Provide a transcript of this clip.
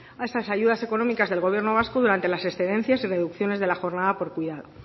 a esas ayudas económicas del gobierno vasco durante las excedencias y reducciones de la jornada por cuidado